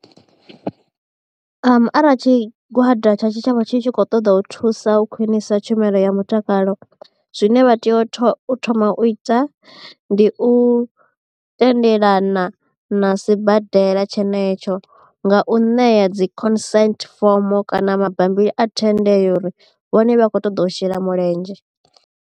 Arali tshigwada tsha tshitshavha tshi tshi khou ṱoḓa u thusa u khwinisa tshumelo ya mutakalo zwine vha tea u thoma u ita ndi u tendelana na sibadela tshenetsho nga u ṋea dzi concerts form kana mabambiri a thendelo uri vhone vha kho ṱoḓa u shela mulenzhe.